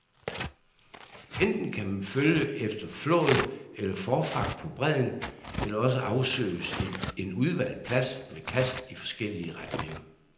Enten kan man følge efter flåd eller forfang på bredden, eller også afsøges en udvalgt plads med kast i forskellige retninger.